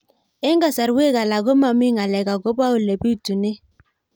Eng' kasarwek alak ko mami ng'alek akopo ole pitunee